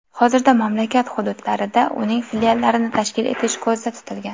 Hozirda mamlakat hududlarida uning filiallarini tashkil etish ko‘zda tutilgan.